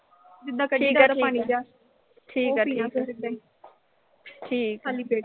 ਜਿੱਦਾਂ ਉਹ ਪੀ ਲਈਂ ਬਸ ਓਦਾਂ ਈ। ਖਾਲੀ ਪੇਟ